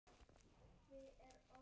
Aðeins svona, jú.